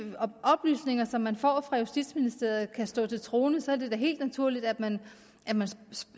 oplysninger som man får fra justitsministeriet kan stå til troende så er det da helt naturligt at man